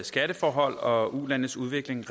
skatteforhold og ulandenes udvikling